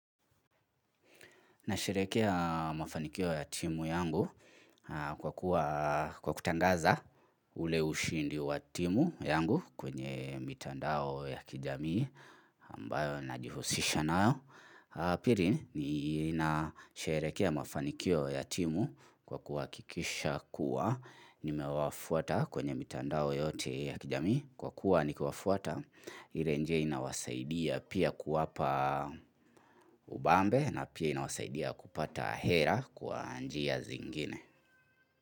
Nasherekea mafanikio ya timu yangu kwa kuwa kutangaza ule ushindi wa timu yangu kwenye mitandao ya kijamii ambayo najihusisha nayo. Pili nina sherekea mafanikio ya timu kwa kuhakikisha kuwa nimewafuata kwenye mitandao yote ya kijamii. Kwa kuwa nikiwafuata, ile njie inawasaidia pia kuwapa ubambe na pia inawasaidia kupata hela kwa njia zingine.